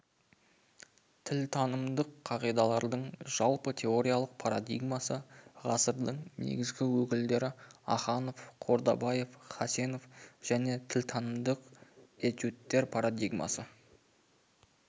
тілтанымдық қағидалардың жалпы теориялық парадигмасы ғасырдың негізгі өкілдері аханов қордабаев хасенов және тілтанымдық этюдтер парадигмасы